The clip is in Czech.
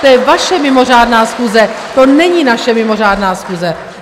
To je vaše mimořádná schůze, to není naše mimořádná schůze!